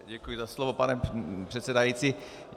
Děkuji za slovo, pane předsedající.